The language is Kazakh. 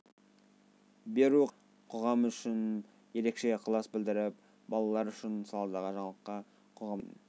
беру қызметі қоғам үшін ерекше ықылас білдіріп балалар үшін бұл саладағы жаңалыққа қоғамның мүдделі екенін